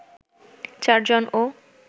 ৪ জন ও